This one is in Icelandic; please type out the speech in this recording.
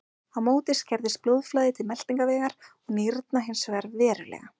Á móti skerðist blóðflæði til meltingarvegar og nýrna hins vegar verulega.